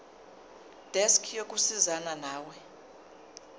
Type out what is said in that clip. desk yokusizana nawe